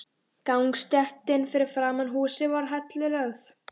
Gangstéttin fyrir framan húsið er hellulögð.